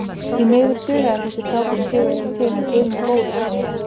Því miður dugaði þessi frábæri sigur ekki til en guð minn góður hvað þeir reyndu.